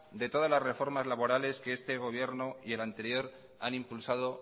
de todas las reformas laborales que este gobierno y el anterior han impulsado